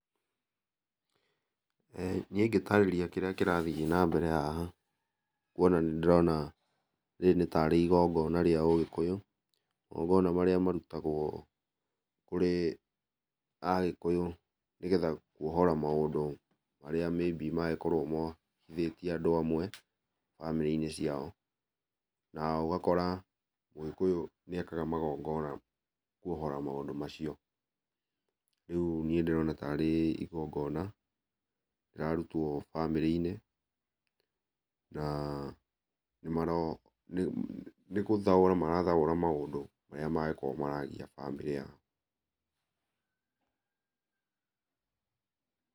Niĩ ingĩtarĩria kĩrĩa kĩrathiĩ na mbere haha, kuona nĩ ndĩrona rĩrĩ nĩ tarĩ igongona rĩa ũgĩkũyũ. Magongona marĩa marutagwo kũrĩ agĩkũyũ nĩgetha kuohora mũndũ marĩa maybe mangĩkorwo mohithĩtie andũ amwe bamĩrĩ-inĩ ciao, na ũgakora mũgĩkũyũ nĩ ekaga magongona kuohora maũndũ macio. Rĩu niĩ ndĩrona tarĩ igongona rĩrarutwo bamĩrĩ-inĩ na nĩ maro nĩ gũthaũra marathaũra maũndũ marĩa mangĩkorwo maragia bamĩrĩ yao.